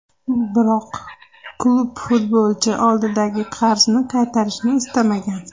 Biroq klub futbolchi oldidagi qarzni qaytarishni istamagan.